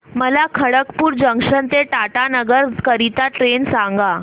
मला खडगपुर जंक्शन ते टाटानगर करीता ट्रेन सांगा